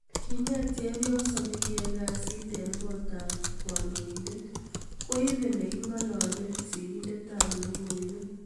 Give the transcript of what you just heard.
Kinget chepyoso nekiyae kasit eng kot ab kandoindet koibe nekingalale sirindet ab lokoiwek.